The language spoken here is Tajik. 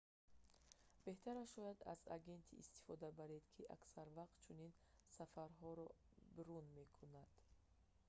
беҳтараш шояд аз агенте истифода баред ки аксар вақт чунин сафарҳоро брон мекунад